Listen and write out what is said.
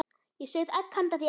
Ég sauð egg handa þér.